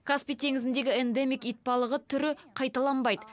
каспий теңізіндегі эндемик итбалығы түрі қайталанбайды